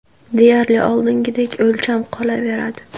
Deyarli oldingidek o‘lcham qolaveradi.